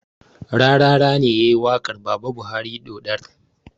Rarara ne yayi waƙar baba buhari ɗoɗar